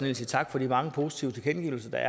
vil sige tak for de mange positive tilkendegivelser der